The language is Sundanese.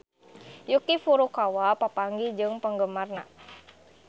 Yuki Furukawa papanggih jeung penggemarna